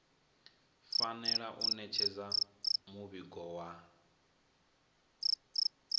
fanela u ṋetshedza muvhigo wa